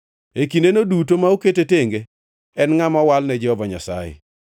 E kindeno duto ma okete tenge, en ngʼama owal ne Jehova Nyasaye.